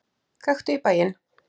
Gakktu í bæinn!